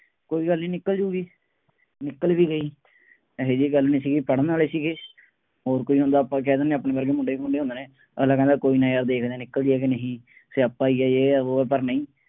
ਕੋਈ ਗੱਲ ਨਹੀਂ, ਨਿਕਲ ਜਾਊਗੀ, ਨਿਕਲ ਵੀ ਗਈ, ਇਹੋ ਜਿਹੀ ਗੱਲ ਨਹੀਂ ਸੀਗੀ, ਪੜ੍ਹਨ ਵਾਲੇ ਸੀਗੇ, ਹੋਰ ਕੋਈ ਹੁੰਦਾ ਆਪਾਂ ਕਹਿ ਦਿੰਦੇ ਹਾਂ ਆਪਣੇ ਵਰਗੇ ਮੁੰਡੇ ਖੁੰਡੇ ਹੁੰਦੇ ਨੇ, ਅਗਲਾ ਕਹਿੰਦਾ ਕੋਈ ਨਾ ਯਾਰ ਦੇਖਦੇ ਹਾਂ ਨਿਕਲਦੀ ਹੈ ਕਿ ਨਹੀਂ ਸਿਆਪਾ ਹੀ ਹੈ, ਯੇਹ ਹੈ, ਵੋਹ ਹੈ, ਪਰ ਨਹੀਂ,